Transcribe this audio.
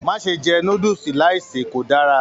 Má ṣe jẹ núdúsí láì se, kò dára!